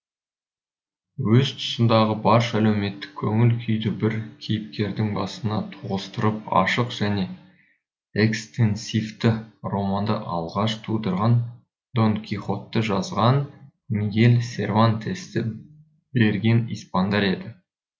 өз тұсындағы барша әлеуметтік көңіл күйді бір кейіпкердің басына тоғыстырып ашық және экстенсивті романды алғаш тудырған дон кихотты жазған мигель сервантесті берген испандар еді